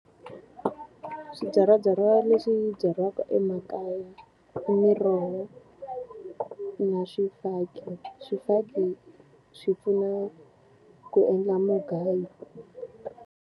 Swibyariwabyariwa leswi byariwaka emakaya i miroho na swifaki. Swifaki swi pfuna ku endla mugayo.